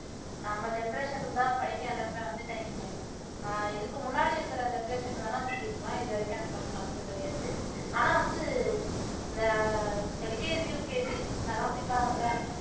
நம்ம generation தான் படிக்க எல்லாருமே வந்துட்டாய்ங்களே ஆஹ் இதுக்கு முன்னாடி இருக்குற generation வேணா அப்படி இருக்கலாம் இது வரைக்கும் அந்த மாதிரி பார்த்தது கிடையாது ஆனா வந்து இந்த LKG UKG அதெல்லாம் படிப்பாங்கள்ல